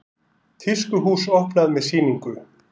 Tískuhús opnað með sýningu